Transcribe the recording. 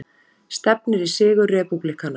Stefnir í sigur repúblikana